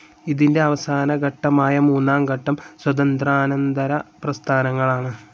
ഇതിൻ്റെ അവസാന ഘട്ടമായ മൂന്നാം ഘട്ടം സ്വാതന്ത്ര്യാനന്തര പ്രസ്ഥാനങ്ങളാണ്.